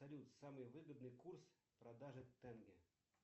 салют самый выгодный курс продажи тенге